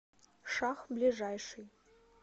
шах ближайший